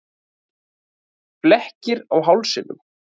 Flekkir á hálsinum.